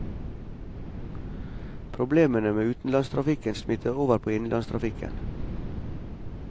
Problemene med utenlandstrafikken smitter over på innenlandstrafikken.